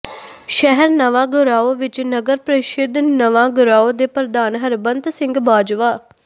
ਸ਼ਹਿਰ ਨਵਾਂ ਗਰਾਉਂ ਵਿੱਚ ਨਗਰ ਪ੍ਰੀਸ਼ਦ ਨਵਾਂਗਰਾਉਂ ਦੇ ਪ੍ਰਧਾਨ ਹਰਬੰਤ ਸਿੰਘ ਬਾਜਵਾ